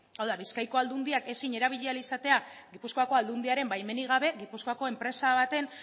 hau da bizkaiko aldundiak ezin erabili ahal izatea gipuzkoako aldundiaren baimenik gabe gipuzkoako enpresa baten